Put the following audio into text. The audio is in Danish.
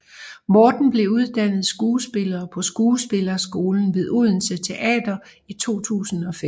Morten blev uddannet skuespiller på Skuespillerskolen ved Odense Teater i 2005